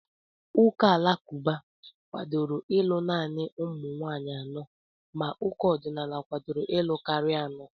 Ụka alakụba kwadoro ịlụ naanị ụmụ nwaanyị anọ ma ụka ọdịnala kwadoro ịlụ karịa anọ.